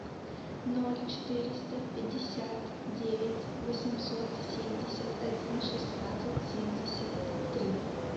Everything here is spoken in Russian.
ноль четыреста пятьдесят девять восемьсот семьдесят один шестнадцать семьдесят три